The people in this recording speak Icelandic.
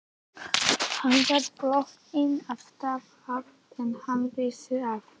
Hann var þotinn af stað áður en hann vissi af.